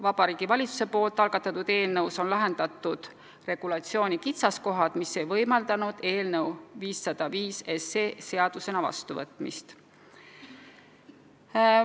Vabariigi Valitsuse algatatud eelnõus on lahendatud regulatsiooni kitsaskohad, mis ei võimaldanud eelnõu 505 seadusena vastu võtta.